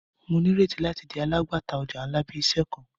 Mo nireti lati di alagbata ọja nla bi iṣẹ kan.